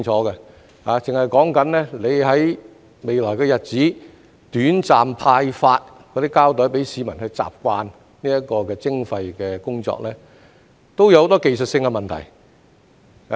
單是局方在未來日子短暫派發膠袋給市民去習慣這項徵費的工作，已有很多技術性的問題。